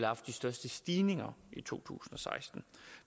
haft de største stigninger i to tusind og seksten